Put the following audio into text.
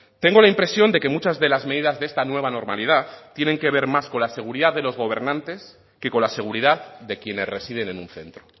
tengo la impresión de que muchas de las medidas de esta nueva normalidad tienen que ver más con la seguridad de los gobernantes que con la seguridad de quienes residen en un centro